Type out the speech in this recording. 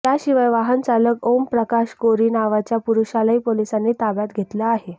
याशिवाय वाहन चालक ओमप्रकाश कोरी नावाच्या पुरुषालाही पोलिसांनी ताब्यात घेतलं आहे